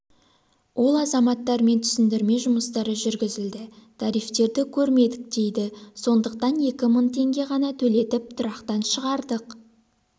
ол азаматтармен түсіндірме жұмыстары жүргізілді тарифтерді көрмедік дейді сондықтан екі мың теңге ғана төлетіп тұрақтан шығардық